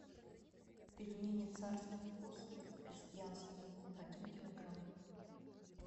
пельмени царский вкус крестьянские один килограмм